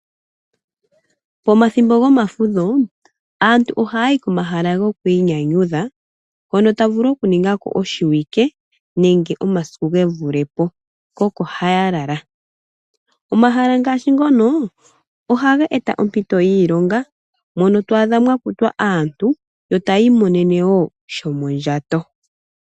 Pomathimbo gomafudho aantu oha yayi komahala gokwinyanyudha hoka taya vulu oku ningako oshiwike nenge omasiku ge vulepo, ko oko haya lala. Omahala ngashi ngono oha ga eta oompito dhiilonga mono twadha mwa kutwa Aantu yo tayi monene wo sha sho mondjato.